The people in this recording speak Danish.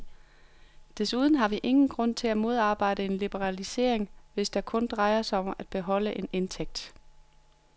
Desuden har vi ingen grund til at modarbejde en liberalisering, hvis det kun drejer sig om at beholde en indtægt.